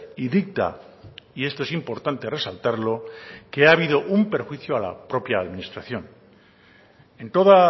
y dicta y esto es importante resaltarlo que ha habido un perjuicio a la propia administración en toda